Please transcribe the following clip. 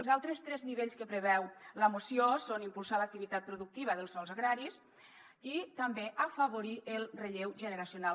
els altres tres nivells que preveu la moció són impulsar l’activitat productiva dels sòls agraris i també afavorir el relleu generacional